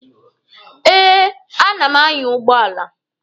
Eh, a na m anya ụgbọala.